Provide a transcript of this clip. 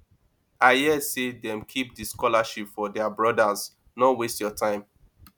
i hear sey dem keep di scholarship for their brodas no waste your time